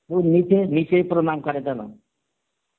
কেউ নিচে, নিচেই প্রনাম করে তারা